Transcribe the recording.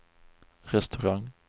restaurang